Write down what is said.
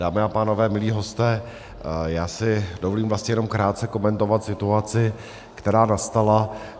Dámy a pánové, milí hosté, já si dovolím vlastně jenom krátce komentovat situaci, která nastala.